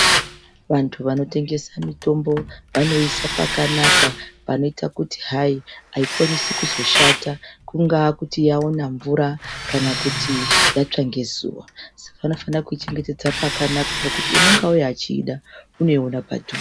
Vantu vanotengesa mitombo vanoiisa pakanaka panoita kuti hayi, haikwanisi kuzoshata. Kungàa kuti yaona mvura kana kuti yatsva ngezuva. Saka vanofana kuichengetedza pakanaka pokuti unonga auya echiida, unoiona padhuze..